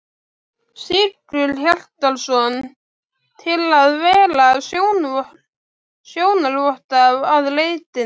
Sigurhjartarson, til að vera sjónarvotta að leitinni.